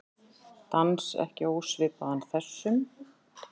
Dans ekki ósvipaðan þessum.